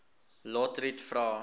lotriet vra